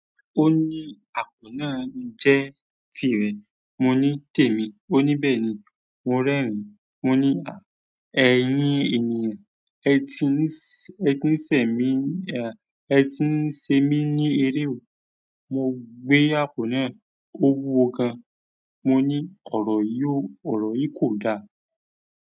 Ó ní àpò náà jẹ́ tirẹ̀. Mo ní tèmi. Ó ní bẹ́ẹ̀ni. Mo rẹ́rìn-ín. Mo ní à, ẹ̀yín ènìyàn, ẹ ti ń sẹ̀ mí, ẹ ti ń ṣe mí ní eré o. Mo gbé àpò náà, ó wúwo gan. Mo ní ọ̀rọ̀ yí kò da.